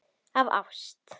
Af ást.